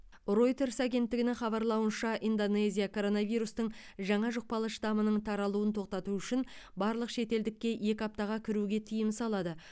ройтерс агенттігінің хабарлауынша индонезия коронавирустың жаңа жұқпалы штаммының таралуын тоқтату үшін барлық шетелдікке екі аптаға кіруге тыйым салады